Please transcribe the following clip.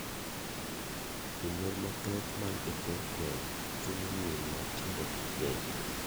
Janyuol mathoth man e kor gweng' chuno nyiri matindo gi keny.